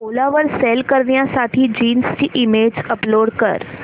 ओला वर सेल करण्यासाठी जीन्स ची इमेज अपलोड कर